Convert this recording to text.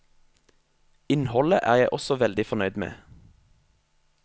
Innholdet er jeg også veldig fornøyd med.